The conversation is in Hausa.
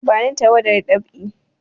Bani tawadar dab'i!